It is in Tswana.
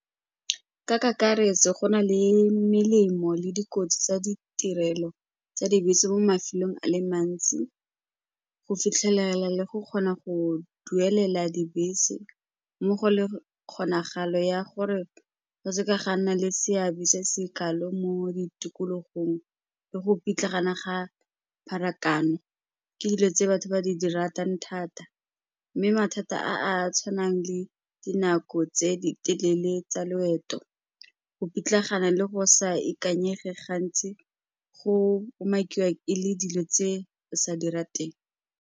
Ka kakaretso, go na le melemo le dikotsi tsa ditirelo tsa dibese mo mafelong a le mantsi, go fitlhelela le go kgona go duelela dibese mmogo le kgonagalo ya gore go seka ga nna le seabe se se kalo mo ditikologong le go pitlagana ga pharakano ke dilo tse batho ba di di ratang thata mme mathata a a tshwanang le dinako tse di telele tsa loeto, go pitlagana le go sa ikanyega gantsi go umakiwa e le dilo tse di sa di rateng.